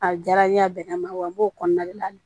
A diyara n ye a bɛnn'a ma wa n b'o kɔnɔna de la